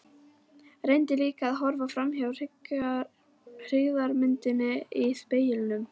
Reyndi líka að horfa framhjá hryggðarmyndinni í speglinum.